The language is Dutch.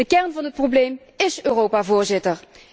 De kern van het probleem ís Europa, Voorzitter.